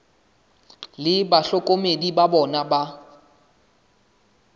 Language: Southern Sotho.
le bahlokomedi ba bona ba